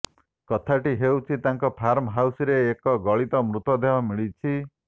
କଥାଟି ହେଉଛି ତାଙ୍କ ଫାର୍ମ ହାଉସରେ ଏକ ଗଳିତ ମୃତଦେହ ମିଳିଛି